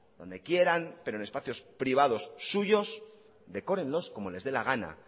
donde quieran pero en espacios privados suyos decórenlos como les dé la gana